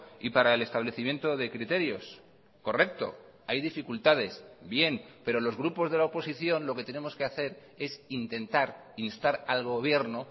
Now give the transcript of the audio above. y para el establecimiento de criterios correcto hay dificultades bien pero los grupos de la oposición lo que tenemos que hacer es intentar instar al gobierno